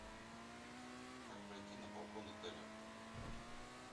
как пройти на балкон отеля